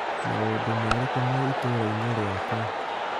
Maũndũ marĩkũ me itũra-inĩ rĩakwa ?